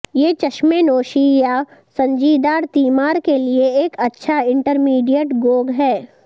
یہ چشمیں نوشی یا سنجیدار تیمار کے لئے ایک اچھا انٹرمیڈیٹ گوگ ہیں